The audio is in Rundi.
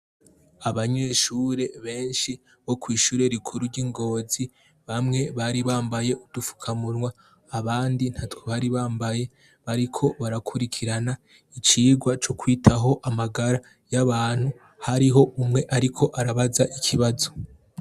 Abanyeshure benshi bo kw'ishure rikuru ry'ingozi bamwe bari bambaye udufukamunwa abandi nta twebari bambaye bariko barakurikirana icirwa c'ukwitaho amagara y'abantu hariho umwe, ariko arabaza ikibazo.